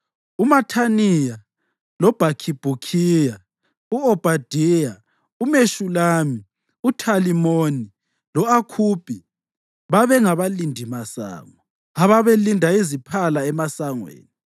UMathaniya, loBhakhibhukhiya, u-Obhadaya, uMeshulami, uThalimoni lo-Akhubi babe ngabalindimasango ababelinda iziphala emasangweni.